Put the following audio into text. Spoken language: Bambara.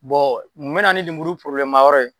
mun bɛ na nin lemuru ma yɔrɔ ye.